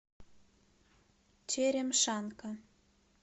черемшанка